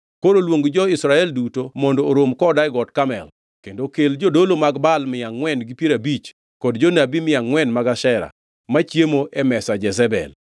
Koro luong jo-Israel duto mondo orom koda e Got Karmel. Kendo kel jodolo mag Baal mia angʼwen gi piero abich kod jonabi mia angʼwen mag Ashera, machiemo e mesa Jezebel.”